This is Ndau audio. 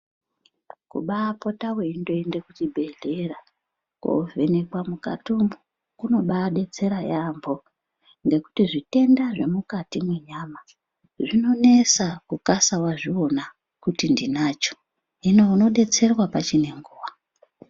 Kubaapota weindoende kuchibhehleya kovhenekwe mukati umwu kunobaadetsera yamho ngekuti zvitenda zvemukati mwenyama zvinonesa kukasa wazviona kuti ndinancho hino unodetserwa pachinenguwa.